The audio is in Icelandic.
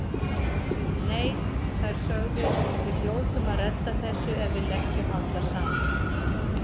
Nei, þær sögðu: Við hljótum að redda þessu ef við leggjum allar saman